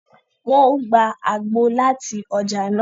Wọn o gbà àgbo láti ọja nàá